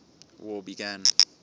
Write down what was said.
war began